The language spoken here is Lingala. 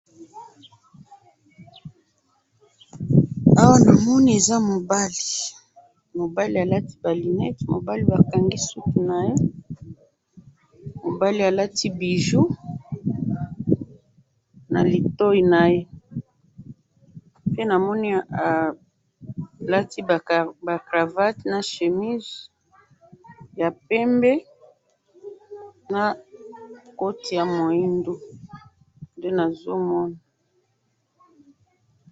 awa namoni eza mobali , mobali alati ba lunette ,mobali ba kangi supu naye ,mobali alati bijou na litoyi naye pe namoni alati ba cravatte na chemise ya pembe na koti ya moindo nde nazo mona